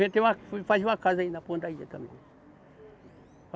Fui fazer uma casa aí na ponta da ilha também.